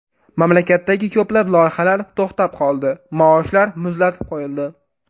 Mamlakatdagi ko‘plab loyihalar to‘xtab qoldi, maoshlar muzlatib qo‘yildi.